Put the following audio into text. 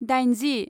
दाइनजि